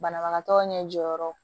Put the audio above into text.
Banabagatɔ ɲɛ jɔyɔrɔ